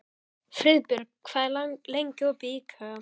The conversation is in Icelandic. Friðbjörg, hvað er lengi opið í IKEA?